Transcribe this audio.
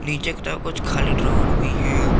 नीचे की तरफ कुछ खाली ड्रॉवर भी है।